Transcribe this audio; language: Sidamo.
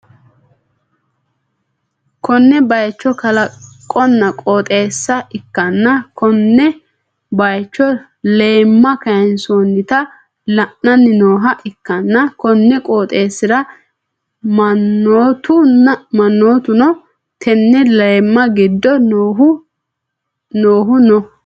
konne bayicho kalaqonna qooxeessa ikkanna, konne bayicho leeemma kayinsoonnita la'anni nooha ikkanna, konni qooxeessi'ra mannootuno tenne leemmi giddo noohu no.